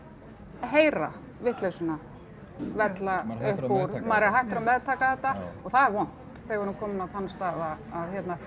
heyra vitleysuna vella upp úr honum maður er hættur að meðtaka þetta og það er vont þegar við erum komin á þann stað að